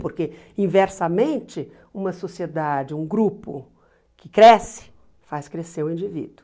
Porque, inversamente, uma sociedade, um grupo que cresce, faz crescer o indivíduo.